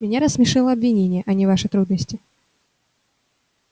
меня рассмешило обвинение а не ваши трудности